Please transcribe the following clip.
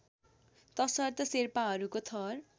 तसर्थ शेर्पाहरूको थर